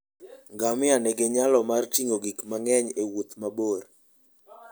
Ngamia nigi nyalo mar ting'o gik mang'eny e wuoth mabor.